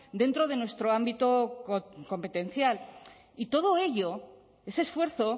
dentro de nuestro ámbito competencial y todo ello ese esfuerzo